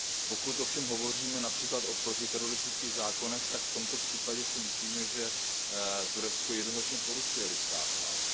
Pokud ovšem hovoříme například o protiteroristických zákonech, tak v tomto případě si myslím, že Turecko jednoznačně porušuje lidská práva.